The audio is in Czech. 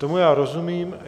Tomu já rozumím.